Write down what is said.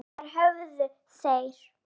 Þar höfðu þeir